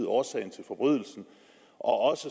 årsagen til forbrydelsen og også